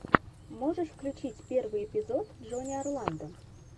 можешь включить первый эпизод джонни орландо